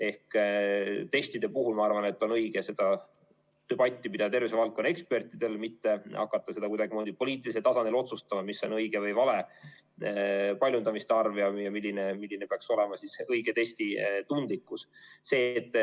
Ehk testide puhul ma arvan, et on õige seda debatti pidada tervisevaldkonna ekspertidel, mitte hakata kuidagimoodi poliitilisel tasandil otsustama seda, mis on õige või vale paljundamiste arv ja milline peaks olema see õige testi tundlikkus.